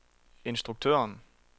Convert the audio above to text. instruktøren